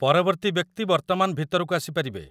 ପରବର୍ତ୍ତୀ ବ୍ୟକ୍ତି ବର୍ତ୍ତମାନ ଭିତରକୁ ଆସିପାରିବେ!